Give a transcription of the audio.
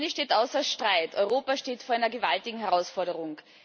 Eines steht außer Streit Europa steht vor einer gewaltigen Herausforderung.